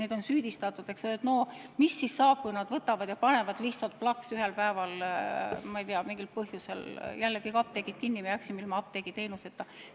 Neid on süüdistatud, et mis siis ikkagi saab, kui nad võtavad ja panevad lihtsalt plaks ühel päeval mingil põhjusel jälle kõik apteegid kinni ja me jääme ilma apteegiteenuseta.